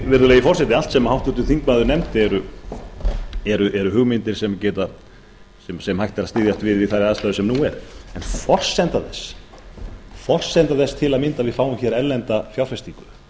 virðulegi forseti allt sem háttvirtur þingmaður nefndi eru hugmyndir sem hægt er að styðjast við við þær aðstæður sem nú eru forsenda þess til að mynda að við fáum hér erlenda fjárfestingu